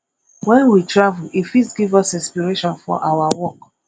when we travel e fit give us inspiration for our work